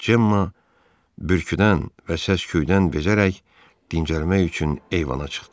Cemmma bürküdən və səsküydən bezərək dincəlmək üçün eyvana çıxdı.